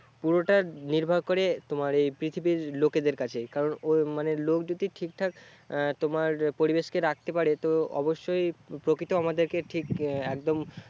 পুরোটা নির্ভর করে তোমার এই পৃথিবীর লোকেদের কাছে, কারণ ও মানে লোক যদি ঠিকঠাক তোমার পরিবেশকে রাখতে পারে তো অবশ্যই প্রকৃতি আমাদের ঠিক একদম